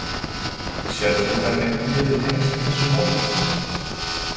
Sérðu hvernig hún gæti tengst þessu máli?